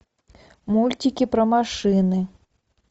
мультики про машины